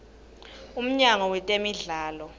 umnyango wetemidlalo